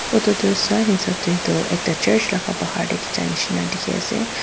Otate sai hesab dae tuh ekta church laga bahar dae jha neshina dekhe ase.